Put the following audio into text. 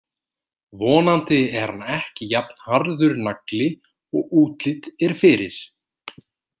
Vonandi er hann ekki jafn harður nagli og útlit er fyrir.